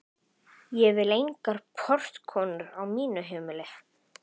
Ég vil engar portkonur á mínu heimili.